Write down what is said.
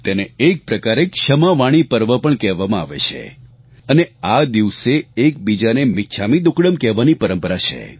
તેને એક પ્રકારે ક્ષમાવાણી પર્વ પણ કહેવામાં આવે છે અને આ દિવસે એકબીજાને મિચ્છામી દુક્કડમ કહેવાની પરંપરા છે